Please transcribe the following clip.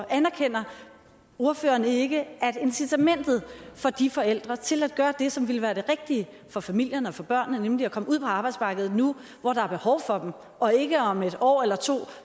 anerkender ordføreren så ikke at incitamentet for de forældre til at gøre det som ville være det rigtige for familierne og for børnene nemlig at komme ud på arbejdsmarkedet nu hvor der er behov for dem og ikke om et år eller to